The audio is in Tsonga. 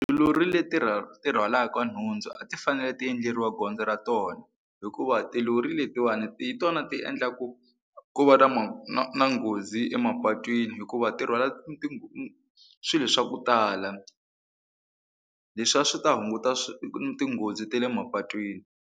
Tilori leti ti rhwalaka nhundzu a ti fanele ti endleriwa gondzo ra tona hikuva tilori letiwani hi tona ti endla ku ku va na na nghozi emapatwini hikuva ti rhwala swilo swa ku tala leswi a swi ta hunguta tinghozi ta le mapatwini.